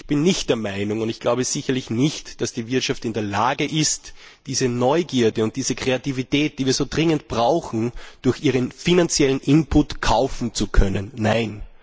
Ich bin nicht der Meinung, und ich glaube sicherlich nicht, dass die Wirtschaft in der Lage ist, diese Neugierde und diese Kreativität, die wir so dringend brauchen, durch ihren finanziellen Imput kaufen zu können. Nein!